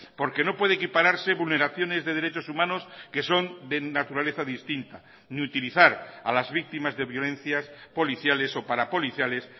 porque no puede equipararse vulneraciones de derechos humanos que son de naturaleza distinta ni utilizar a las víctimas de violencias policiales o parapoliciales